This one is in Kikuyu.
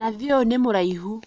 Nathi ũyũ nĩ mũraihu